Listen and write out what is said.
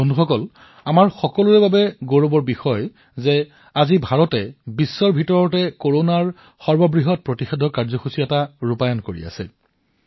বন্ধুসকল এইটো আমাৰ সকলোৰে বাবে গৌৰৱৰ বিষয় যে আজি ভাৰতে বিশ্বৰ সৰ্ববৃহৎ টীকাকৰণ কাৰ্যসূচী প্ৰণয়ন কৰিছে